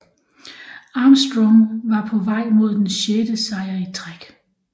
Armstrong var på vej mod den sjette sejr i træk